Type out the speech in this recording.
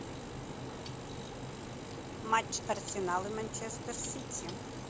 матч арсенал и манчестер сити